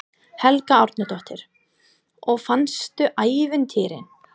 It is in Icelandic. Helga Arnardóttir: Og fannstu ævintýrin?